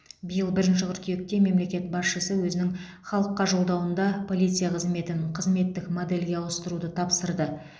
биыл бірінші қыркүйекте мемлекет басшысы өзінің халыққа жолдауында полиция қызметін қызметтік модельге ауыстыруды тапсырды